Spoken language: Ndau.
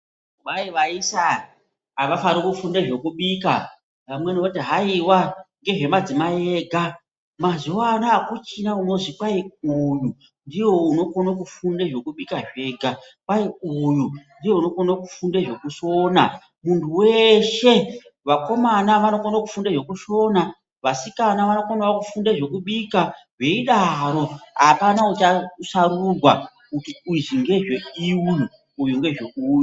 Kwai vaisa avafani kufunde zvekubika, amweni voti haiwa ngezvemadzimayi ega, mazuwano akuchina unozwi uyu ndiye unokone kufunde zvekubika zvega, kwai uyu ndiye unokone kufunde zvekusona. Munhu weshe, vakomana vanokone kufunde zvekusona, vasikana vanokonawo kufunde zvekubika, zveidaro, apana uchasarurwa kuti izvi ngezve uyu izvi ngezve uyu.